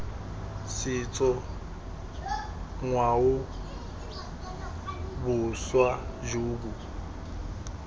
setso ngwao boswa jo bo